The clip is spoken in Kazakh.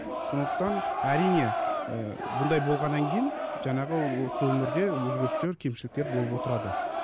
сондықтан әрине ы бұндай болғаннан кейін жаңағы осы өмірде өзгерістер кемшіліктер болып отырады